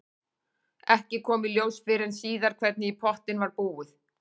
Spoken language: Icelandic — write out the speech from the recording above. Ekki kom í ljós fyrr en síðar hvernig í pottinn var búið.